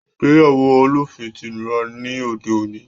Ìgbéyàwó olóòfin ti nira ní òde òní